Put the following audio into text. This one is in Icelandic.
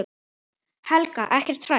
Helga: Ekkert hrædd?